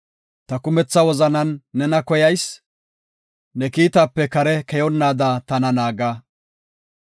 Ta kumetha wozanan nena koyas; ne kiitaape kare keyonnaada tana naaga.